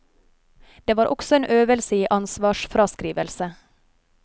Det var også en øvelse i ansvarsfraskrivelse.